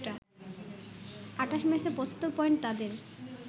২৮ ম্যাচে ৭৫ পয়েন্ট তাদের